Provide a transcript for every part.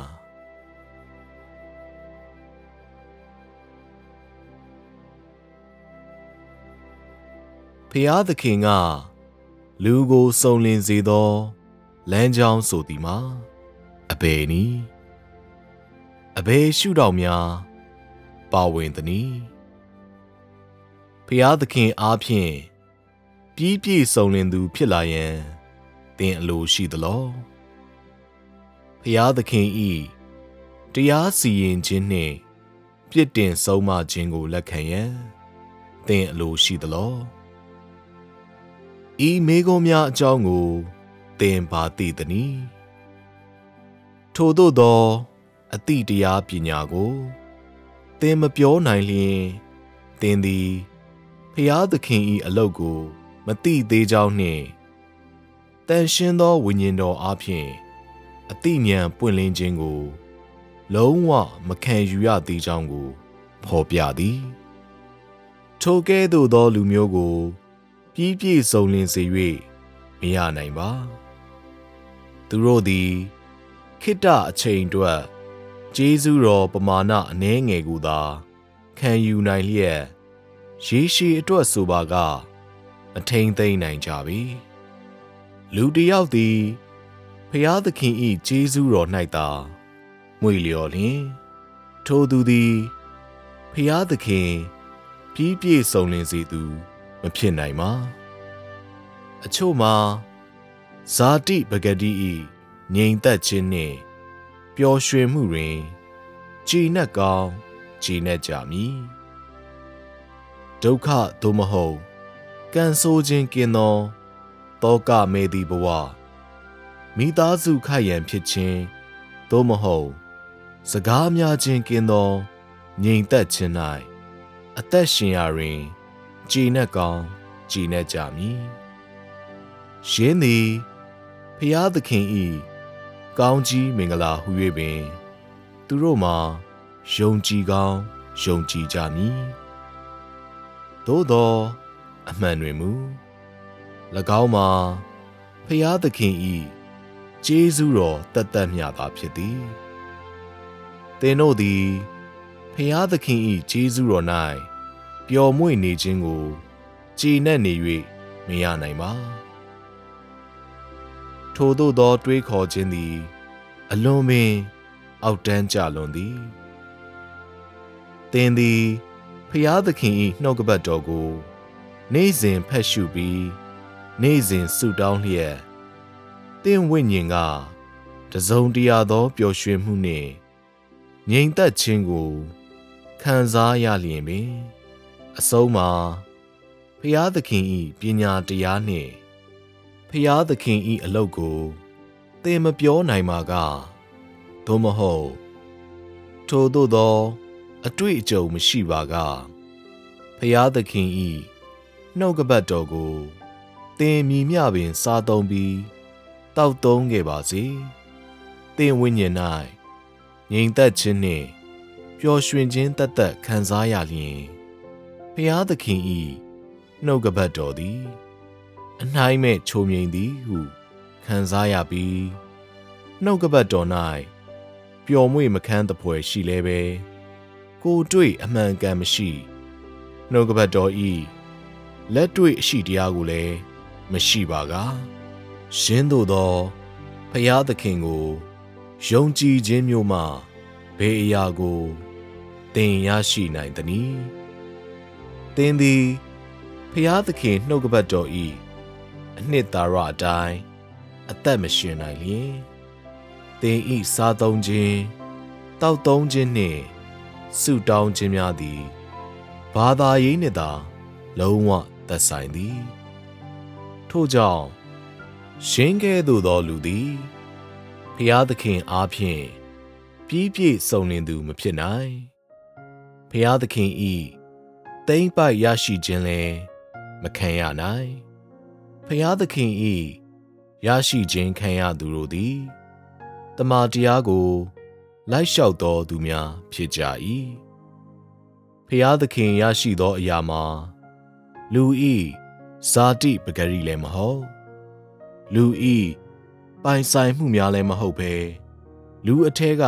ားသခင်က လူကိုစုံလင်စေသော လမ်းကြောင်းဆိုသည်မှာ အဘယ်နည်း။ အဘယ်ရှုထောင့်များ ပါဝင်သနည်း။ ဘုရားသခင်အားဖြင့် ပြီးပြည့်စုံလင်သူ ဖြစ်လာရန် သင်အလိုရှိသလော။ ဘုရားသခင်၏ တရားစီရင်ခြင်းနှင့် ပြစ်တင်ဆုံးမခြင်းကို လက်ခံရန် သင်အလိုရှိသလော။ ဤမေးခွန်းများ အကြောင်းကို သင်ဘာသိသနည်း။ ထိုသို့သော အသိတရားပညာကို သင်မပြောနိုင်လျှင်၊ သင်သည် ဘုရားသခင်၏ အလုပ်ကို မသိသေးကြောင်းနှင့်၊ သန့်ရှင်းသော ဝိညာဉ်တော်အားဖြင့် အသိဉာဏ် ပွင့်လင်းခြင်းကို လုံးဝမခံယူ ရသေးကြောင်းကို ဖော်ပြသည်။ ထိုကဲ့သို့သော လူမျိုးကို ပြီးပြည့်စုံလင်စေ၍ မရနိုင်ပါ။ သူတို့သည် ခေတ္တအချိန်အတွက် ကျေးဇူးတော် ပမာဏအနည်းငယ်ကိုသာ ခံယူနိုင်လျက် ရေရှည်အတွက်ဆိုပါက မထိန်းသိမ်းနိုင်ကြပေ။ လူတစ်ယောက်သည် ဘုရားသခင်၏ ကျေးဇူးတော်၌သာ မွေ့လျော်လျှင် ထိုသူသည် ဘုရားသခင် ပြီးပြည့်စုံလင်စေသူ မဖြစ်နိုင်ပါ။ အချို့မှာ ဇာတိပကတိ၏ ငြိမ်သက်ခြင်းနှင့် ပျော်ရွှင်မှုတွင် ကျေနပ်ကောင်း ကျေနပ်ကြမည်။ ဒုက္ခ သို့မဟုတ် ကံဆိုးခြင်းကင်းသော သောကမဲ့သည့်ဘဝ၊ မိသားစုခိုက်ရန်ဖြစ်ခြင်း သို့မဟုတ် စကားများခြင်းကင်းသော ငြိမ်သက်ခြင်း၌ အသက်ရှင်ရာတွင် ကျေနပ်ကောင်း ကျေနပ်ကြမည်။ ယင်းသည် ဘုရားသခင်၏ ကောင်းချီးမင်္ဂလာဟူ၍ပင် သူတို့မှာ ယုံကြည်ကောင်း ယုံကြည်ကြမည်။ သို့သော် အမှန်တွင်မူ ၎င်းမှာ ဘုရားသခင်၏ ကျေးဇူးတော် သက်သက်မျှသာ ဖြစ်သည်။ သင်တို့သည် ဘုရားသခင်၏ ကျေးဇူးတော်၌ ပျော်မွေ့နေခြင်းကို ကျေနပ်နေ၍ မရနိုင်ပါ။ ထိုသို့သော တွေးခေါ်ခြင်းသည် အလွန်ပင် အောက်တန်း ကျလွန်းသည်။ သင်သည် ဘုရားသခင်၏ နှုတ်ကပတ်တော်ကို နေ့စဉ်ဖတ်ရှုပြီး၊ နေ့စဉ်ဆုတောင်းလျက်၊ သင့်ဝိညာဉ်က တစ်စုံတစ်ရာသော ပျော်ရွှင်မှုနှင့် ငြိမ်သက်ခြင်းကို ခံစားရလျှင်ပင်၊ အဆုံးမှာ ဘုရားသခင်၏ ပညာတရားနှင့် ဘုရားသခင်၏အလုပ်ကို သင်မပြောနိုင်ပါက၊ သို့မဟုတ် ထိုသို့သော အတွေ့အကြုံမရှိပါက၊ ဘုရားသခင်၏ နှုတ်ကပတ်တော်ကို သင်မည်မျှပင်စားသုံးပြီး၊ သောက်သုံးခဲ့ပါစေ၊ သင့်ဝိညာဉ်၌ ငြိမ်သက်ခြင်းနှင့် ပျော်ရွှင်ခြင်းသက်သက် ခံစားရလျှင်၊ ဘုရားသခင်၏ နှုတ်ကပတ်တော်သည် အနှိုင်းမဲ့ ချိုမြိန်သည်ဟု ခံစားရပြီး၊ နှုတ်ကပတ်တော်၌ ပျော်မွေ့မခန်းသဖွယ် ရှိလည်းဘဲ၊ ကိုယ်တွေ့အမှန်အကန်မရှိ၊ နှုတ်ကပတ်တော်၏ လက်တွေ့အရှိတရားကိုလည်း မရှိပါက၊ ယင်းသို့သော ဘုရားသခင်ကို ယုံကြည်ခြင်းမျိုးမှ ဘယ်အရာကို သင်ရရှိနိုင်သနည်း။ သင်သည် ဘုရားသခင်နှုတ်ကပတ်တော်၏ အနှစ်သာရအတိုင်း အသက်မရှင်နိုင်လျှင်၊ သင်၏စားသုံးခြင်း၊ သောက်သုံးခြင်းနှင့် ဆုတောင်းခြင်းများသည် ဘာသာရေးနှင့်သာ လုံးဝသက်ဆိုင်သည်။ ထို့ကြောင့် ယင်းကဲ့သို့သော လူသည် ဘုရားသခင်အားဖြင့် ပြီးပြည့်စုံလင်သူ မဖြစ်နိုင်၊ ဘုရားသခင်၏ သိမ်းပိုက်ရရှိခြင်းလည်း မခံရနိုင်။ ဘုရားသခင်၏ ရရှိခြင်းခံရသူတို့သည် သမ္မာတရားကို လိုက်လျှောက်သော သူများဖြစ်ကြ၏။ ဘုရားသခင် ရရှိသော အရာမှာ လူ၏ ဇာတိပကတိလည်းမဟုတ်၊ လူ၏ပိုင်ဆိုင်မှုများလည်း မဟုတ်ပဲ၊ လူအထဲက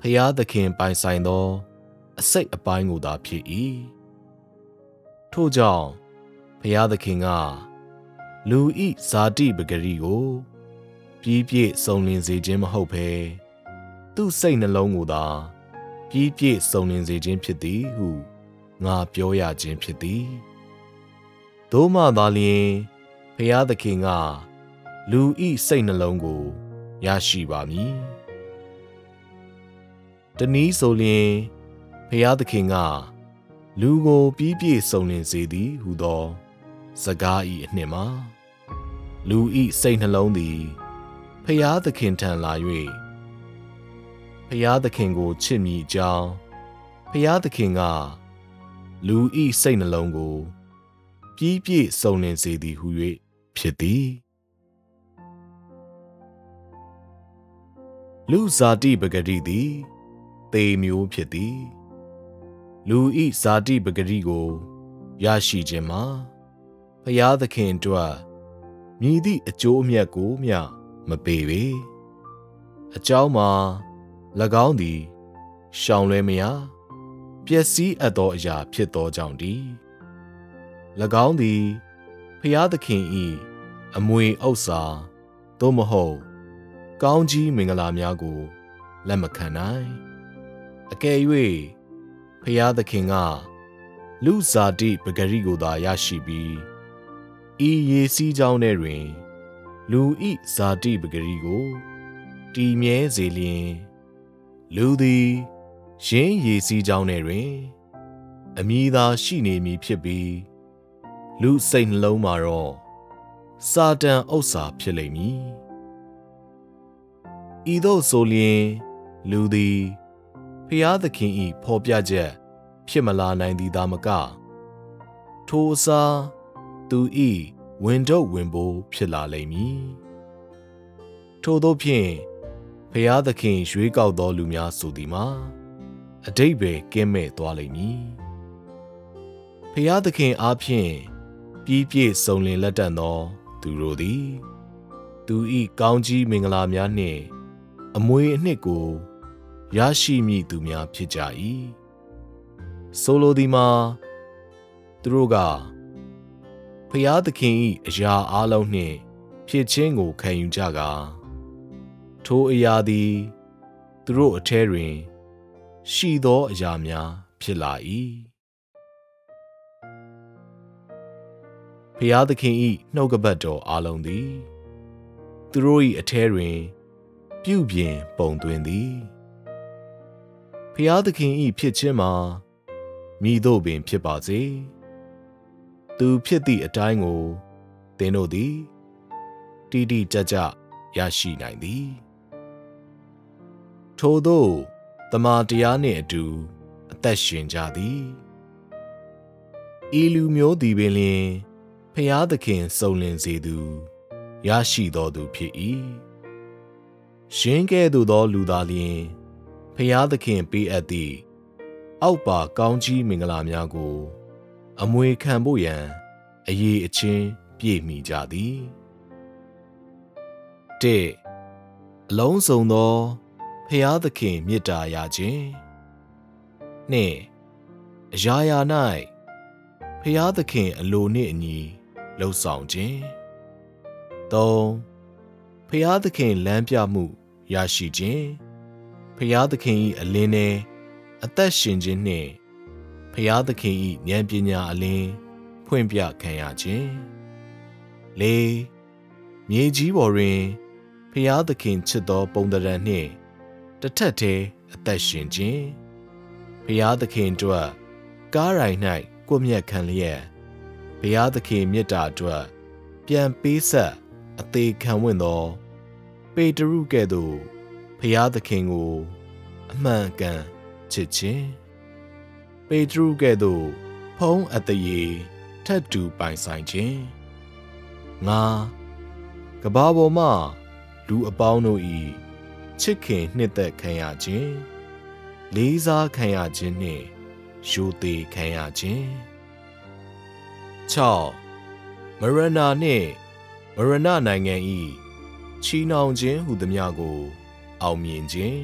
ဘုရားသခင်ပိုင်ဆိုင်သော အစိတ်အပိုင်းကိုသာ ဖြစ်၏။ ထို့ကြောင့် ဘုရားသခင်က လူ၏ဇာတိပကတိကို ပြီးပြည့်စုံလင်စေခြင်း မဟုတ်ဘဲ သူ့စိတ်နှလုံးကိုသာ ပြီးပြည့်စုံလင်စေခြင်း ဖြစ်သည်ဟု ငါပြောရခြင်း ဖြစ်သည်၊ သို့မှသာလျှင် ဘုရားသခင်က လူ၏စိတ်နှလုံးကို ရရှိပါမည်။ တစ်နည်းဆိုလျှင် ဘုရားသခင်က လူကို ပြီးပြည့်စုံလင်စေသည်ဟူသော စကား၏အနှစ်မှာ လူ၏စိတ်နှလုံးသည် ဘုရားသခင်ထံလာ၍ ဘုရားသခင်ကို ချစ်မည်အကြောင်း ဘုရားသခင်က လူ၏စိတ်နှလုံးကို ပြီးပြည့်စုံလင်စေသည်ဟူ၍ ဖြစ်သည်။ လူ့ဇာတိပကတိသည် သေမျိုးဖြစ်သည်။ လူ၏ ဇာတိပကတိကို ရရှိခြင်းမှာ ဘုရားသခင်အတွက် မည်သည့် အကျိုးအမြတ်ကိုမျှ မပေးပေ။ အကြောင်းမှာ ၎င်းသည် ရှောင်လွဲမရ ပျက်စီးအပ်သောအရာ ဖြစ်သောကြောင့်တည်း။ ၎င်းသည် ဘုရားသခင်၏ အမွေဥစ္စာ သို့မဟုတ် ကောင်းချီးမင်္ဂလာများကို လက်မခံနိုင်။ အကယ်၍ ဘုရားသခင်က လူ့ဇာတိပကတိကိုသာ ရရှိပြီး၊ ဤရေစီးကြောင်းထဲတွင် လူ၏ဇာတိပကတိကို တည်မြဲစေလျှင်၊ လူသည် ယင်းရေစီးကြောင်းထဲတွင် အမည်သာ ရှိနေမည်ဖြစ်ပြီး၊ လူ့စိတ်နှလုံးမှာတော့ စာတန်ဥစ္စာ ဖြစ်လိမ့်မည်။ ဤသို့ဆိုလျှင် လူသည် ဘုရားသခင်၏ ဖော်ပြချက် ဖြစ်မလာနိုင်သည်သာမက၊ ထိုအစား သူ၏ ဝန်ထုပ်ဝန်ပိုး ဖြစ်လာလိမ့်မည်။ ထိုသို့ဖြင့် ဘုရားသခင် ရွေးကောက်သော လူများဆိုသည်မှာ အဓိပ္ပာယ် ကင်းမဲ့သွားလိမ့်မည်။ ဘုရားသခင်အားဖြင့် ပြီးပြည့်စုံလင်လတံ့သော သူတို့သည် သူ၏ ကောင်းချီးမင်္ဂလာများနှင့် အမွေအနှစ်ကို ရရှိမည့်သူများ ဖြစ်ကြ၏။ ဆိုလိုသည်မှာ သူတို့က ဘုရားသခင်၏ အရာအားလုံးနှင့် ဖြစ်ခြင်းကို ခံယူကြကာ၊ ထိုအရာသည် သူတို့အထဲတွင် ရှိသောအရာများ ဖြစ်လာ၏။ ဘုရားသခင်၏ နှုတ်ကပတ်တော် အားလုံးသည် သူတို့၏အထဲတွင် ပြုပြင်ပုံသွင်းသည်။ ဘုရားသခင်၏ ဖြစ်ခြင်းမှာ မည်သို့ပင်ဖြစ်ပါစေ၊ သူဖြစ်သည့်အတိုင်းကို သင်တို့သည် တိတိကျကျ ရရှိနိုင်သည်။ ထိုသို့ သမ္မာတရားနှင့်အတူ အသက်ရှင်ကြသည်။ ဤလူမျိုးသည်ပင်လျှင် ဘုရားသခင် စုံလင်စေသူ၊ ရရှိသောသူဖြစ်၏။ ယင်းကဲ့သို့သော လူသာလျှင် ဘုရားသခင် ပေးအပ်သည့် အောက်ပါ ကောင်းချီးမင်္ဂလာများကို အမွေခံဖို့ရန် အရည်အချင်းပြည့်မီကြသည်။ ၁။ အလုံးစုံသော ဘုရားသခင်မေတ္တာရခြင်း။ ၂။ အရာရာ၌ ဘုရားသခင်အလိုနှင့်အညီ လုပ်ဆောင်ခြင်း။ ၃။ ဘုရားသခင်လမ်းပြမှု ရရှိခြင်း၊ ဘုရားသခင်၏ အလင်းထဲ အသက်ရှင်ခြင်းနှင့် ဘုရားသခင်၏ ဉာဏ်ပညာအလင်း ဖွင့်ပြခံရခြင်း။ ၄။ မြေကြီးပေါ်တွင် ဘုရားသခင်ချစ်သော ပုံသဏ္ဌာန်နှင့် တစ်ထပ်တည်း အသက်ရှင်ခြင်း၊ ဘုရားသခင်အတွက် ကားတိုင်၌ ကွပ်မျက်ခံလျက် ဘုရားသခင်မေတ္တာအတွက် ပြန်ပေးဆပ် အသေခံဝံ့သော ပေတရုကဲ့သို့ ဘုရားသခင်ကို အမှန်အကန်ချစ်ခြင်း။ ပေတရုကဲ့သို့ ဘုန်းအသရေ ထပ်တူ ပိုင်ဆိုင်ခြင်း။ ၅။ ကမ္ဘာပေါ်မှ လူအပေါင်းတို့၏ ချစ်ခင်နှစ်သက်ခံရခြင်း၊ လေးစားခံရခြင်းနှင့် ရိုသေခံရခြင်း။ ၆။ မရဏာနှင့် မရဏနိုင်ငံ၏ ချည်နှောင်ခြင်း ဟူသမျှကို အောင်မြင်ခြင်း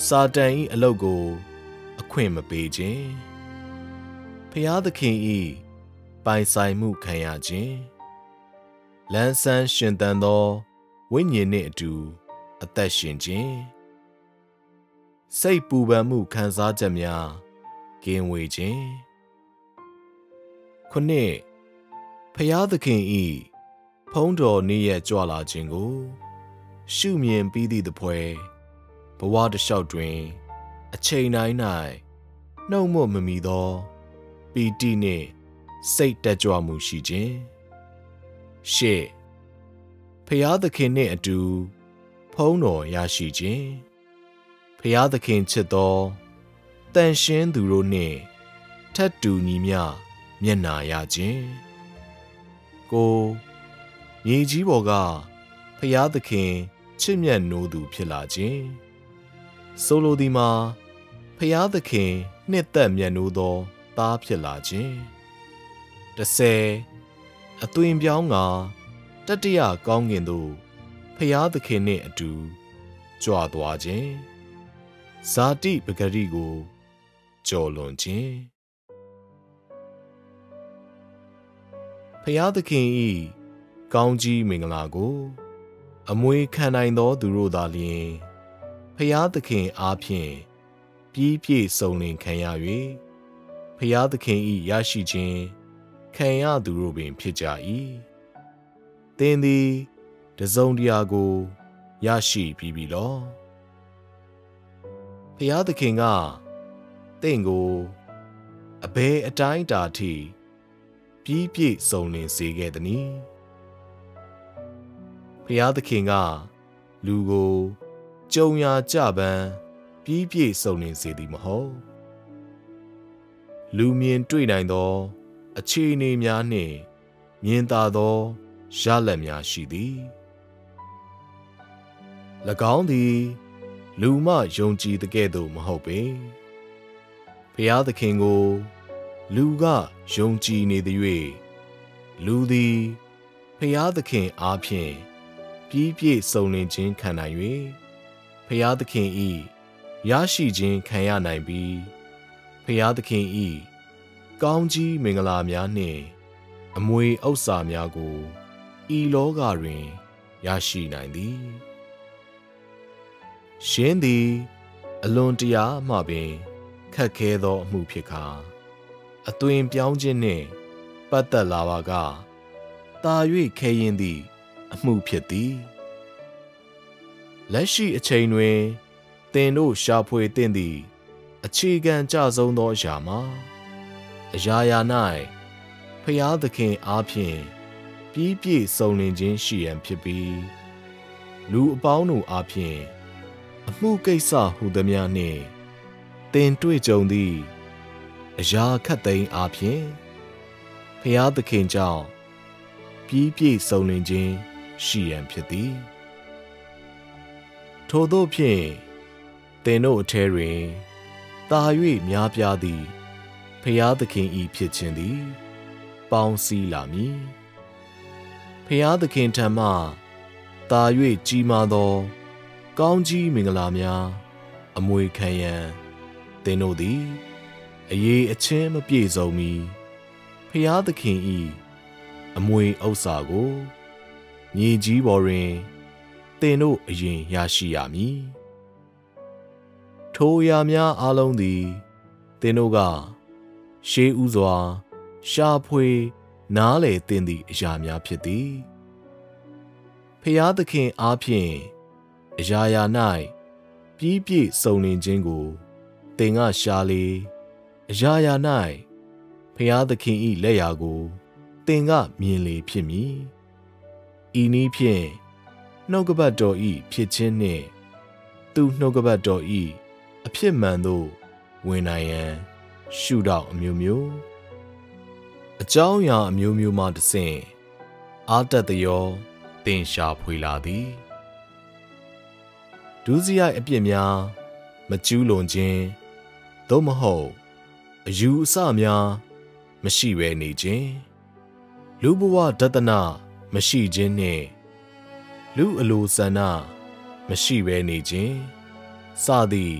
၊ စာတန်၏ အလုပ်ကို အခွင့်မပေးခြင်း၊ ဘုရားသခင်၏ ပိုင်ဆိုင်မှုခံရခြင်း၊ လန်းဆန်း ရှင်သန်သော ဝိညာဉ်နှင့်အတူ အသက်ရှင်ခြင်း၊ စိတ်ပူပန်မှု ခံစားချက်များ ကင်းဝေးခြင်း။ ၇။ ဘုရားသခင်၏ ဘုန်းတော်နေ့ရက် ကြွလာခြင်းကို ရှုမြင်ပြီးသည့်သဖွယ်၊ ဘဝတစ်လျှောက်တွင် အချိန်တိုင်း၌ နှုတ်မြွက်မမီသော ပီတိနှင့် စိတ်တက်ကြွမှုရှိခြင်း။ ၈။ ဘုရားသခင်နှင့်အတူ ဘုန်းတော်ရရှိခြင်း၊ ဘုရားသခင်ချစ်သော သန့်ရှင်းသူတို့နှင့် ထပ်တူညီမျှ မျက်နှာရခြင်း။ ၉။ မြေကြီးပေါ်က ဘုရားသခင်ချစ်မြတ်နိုးသူ ဖြစ်လာခြင်း၊ ဆိုလိုသည်မှာ ဘုရားသခင်နှစ်သက် မြတ်နိုးသော သားဖြစ်လာခြင်း။ ၁၀။ အသွင်ပြောင်းကာ တတိယကောင်းကင်သို့ ဘုရားသခင်နှင့်အတူ ကြွသွားခြင်း၊ ဇာတိပကတိကို ကျော်လွန်ခြင်း။ ဘုရားသခင်၏ ကောင်းချီးမင်္ဂလာကို အမွေခံနိုင်သော သူတို့သာလျှင် ဘုရားသခင်အားဖြင့် ပြီးပြည့်စုံလင်ခံရ၍ ဘုရားသခင်၏ ရရှိခြင်း ခံရသူတို့ပင်ဖြစ်ကြ၏။ သင်သည် တစ်စုံတစ်ရာကို ရရှိပြီးပြီလော။ ဘုရားသခင်က သင့်ကို အဘယ်အတိုင်းအတာထိ ပြီးပြည့်စုံလင်စေခဲ့သနည်း။ ဘုရားသခင်က လူကို ကြုံရာကျပန်း ပြီးပြည့်စုံလင်စေသည် မဟုတ်။ လူမြင်တွေ့နိုင်သော အခြေအနေများနှင့် မြင်သာသော ရလဒ်များရှိသည်။ ၎င်းသည် လူမှ ယုံကြည်သကဲ့သို့ မဟုတ်ပေ၊ ဘုရားသခင်ကို လူက ယုံကြည်နေသရွေ့၊ လူသည် ဘုရားသခင်အားဖြင့် ပြီးပြည့်စုံလင်ခြင်းခံနိုင်၍ ဘုရားသခင်၏ ရရှိခြင်းခံရနိုင်ပြီး ဘုရားသခင်၏ ကောင်းချီးမင်္ဂလာများနှင့် အမွေဥစ္စာများကို ဤလောကတွင် ရရှိနိုင်သည်။ ယင်းသည် အလွန်တရာမှပင် ခက်ခဲသော အမှုဖြစ်ကာ၊ အသွင်ပြောင်းခြင်းနှင့် ပတ်သက်လာပါက သာ၍ခဲယဉ်းသည့် အမှုဖြစ်သည်။ လက်ရှိအချိန်တွင် သင်တို့ ရှာဖွေသင့်သည့် အခြေခံကျဆုံးသော အရာမှာ၊ အရာရာ၌ ဘုရားသခင်အားဖြင့် ပြီးပြည့်စုံလင်ခြင်း ရှိရန်ဖြစ်ပြီး လူအပေါင်းတို့အားဖြင့်၊ အမှုကိစ္စဟူသမျှနှင့် သင်တွေ့ကြုံသည့် အရာခပ်သိမ်းအားဖြင့်၊ ဘုရားသခင်ကြောင့် ပြီးပြည့်စုံလင်ခြင်းရှိရန် ဖြစ်သည်။ ထိုသို့ဖြင့် သင်တို့အထဲတွင် သာ၍များပြားသည့် ဘုရားသခင်၏ဖြစ်ခြင်းသည် ပေါင်းစည်းလာမည်။ ဘုရားသခင်ထံမှ သာ၍ကြီးမားသော ကောင်းချီးမင်္ဂလာများ အမွေခံရန် သင်တို့သည် အရည်အချင်းမပြည့်စုံမီ၊ ဘုရားသခင်၏ အမွေဥစ္စာကို မြေကြီးပေါ်တွင် သင်တို့ အရင်ရရှိရမည်။ ထိုအရာများ အားလုံးသည် သင်တို့က ရှေးဦးစွာ ရှာဖွေ၊ နားလည်သင့်သည့် အရာများ ဖြစ်သည်။ ဘုရားသခင်အားဖြင့် အရာရာ၌ ပြီးပြည့်စုံလင်ခြင်းကို သင်ကရှာလေ၊ အရာရာ၌ ဘုရားသခင်၏လက်ရာကို သင်ကမြင်လေဖြစ်မည်။ ဤနည်းဖြင့် နှုတ်ကပတ်တော်၏ ဖြစ်ခြင်းနှင့် သူ့နှုတ်ကပတ်တော်၏ အဖြစ်မှန်သို့ ဝင်နိုင်ရန် ရှုထောင့်အမျိုးမျိုး၊ အကြောင်းအရာအမျိုးမျိုး မှတစ်ဆင့် အားတက်သရော သင်ရှာဖွေလာသည်။ ဒုစရိုက်အပြစ်များ မကျူးလွန်ခြင်း၊ သို့မဟုတ် အယူအဆများ မရှိဘဲနေခြင်း၊ လူ့ဘဝဒဿန မရှိခြင်းနှင့် လူ့အလိုဆန္ဒ မရှိဘဲနေခြင်းစသည့်